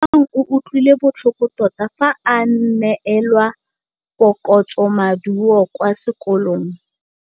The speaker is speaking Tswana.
Lebogang o utlwile botlhoko tota fa a neelwa phokotsômaduô kwa sekolong.